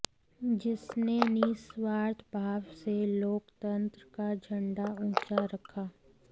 जिसने निस्वार्थ भाव से लोकतंत्र का झंडा ऊंचा रखा